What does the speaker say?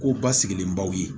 Ko basigilenbaw ye